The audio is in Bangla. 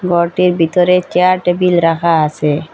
গরটির ভিতরে চেয়ার টেবিল রাখা আসে।